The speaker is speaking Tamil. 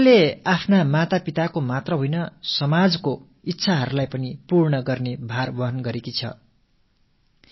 சோனல் தனது தாய் தந்தையின் விருப்பத்தை மட்டுமல்ல ஒட்டு மொத்த சமுதாயத்தின் விருப்பங்களையும் நிறைவு செய்யும் சவாலை ஏற்றுக் கொண்டிருக்கிறார்